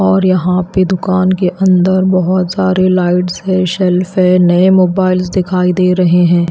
और यहां पे दुकान के अंदर बहुत सारे लाइट्स है सेल्फ है नए मोबाइल्स दिखाई दे रहे हैं।